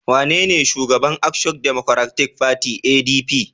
Wanene Shugaban Action Democratic Party (ADP)?